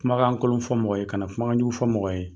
Kumakan kolon fɔ mɔgɔ ye ka na kumakanjugu fɔ mɔgɔ ye.